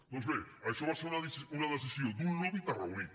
doncs bé això va ser una decisió d’un lobby tarragoní